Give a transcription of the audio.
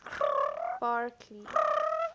barkley